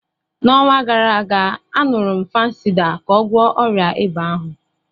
N'ọnwa gara aga, añurum Fansidar ka ọ gwọọ ọrịa ịba ahụ.